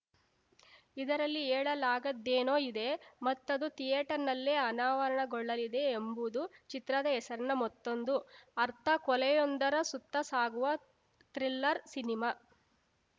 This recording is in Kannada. ಇದರಲ್ಲಿ ಹೇಳಲಾಗದ್ದೇನೋ ಇದೆ ಮತ್ತದು ಥಿಯೇಟರ್‌ನಲ್ಲೇ ಅನಾವರಣಗೊಳ್ಳಲಿದೆ ಎಂಬುದು ಚಿತ್ರದ ಹೆಸರಿನ ಮತ್ತೊಂದು ಅರ್ಥ ಕೊಲೆಯೊಂದರ ಸುತ್ತ ಸಾಗುವ ಥ್ರಿಲ್ಲರ್‌ ಸಿನಿಮಾ